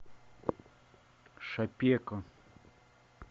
шапеко